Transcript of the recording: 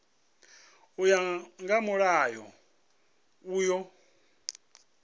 u ya nga mulayo uyu